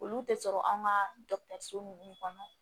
Olu tɛ sɔrɔ anw ka ninnu kɔnɔ